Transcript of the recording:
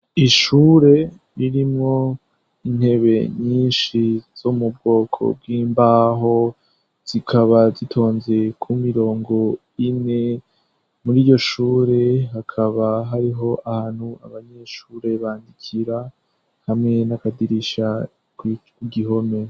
Ishure irimwo intebe nyinshi zo mubwoko bw'imbaho zikaba zitonze ku mirongo ine, muriyo shure hakaba hariho ahantu abanyeshure bandikira hamwe n'akadirisha kugihome.